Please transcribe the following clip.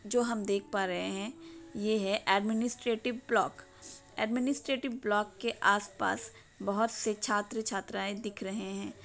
जो हम देख पारहे है यह है अदमिनिसट्रेटीभ ब्लक अदमिनिसट्रेटीभ ब्लक के आसपास बहोत से छात्र छात्राएं दिख रहे है।